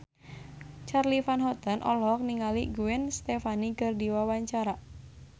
Charly Van Houten olohok ningali Gwen Stefani keur diwawancara